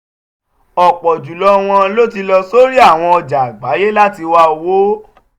ọ̀pọ̀ jù lọ wọn ló ti lọ sórí àwọn ọjà àgbáyé láti wá owó.